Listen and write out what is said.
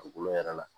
Dugukolo yɛrɛ la